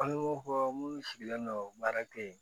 An ni ko munnu sigilen don baara kɛ yen